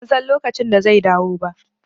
Ban san lokacin da zai dawo ba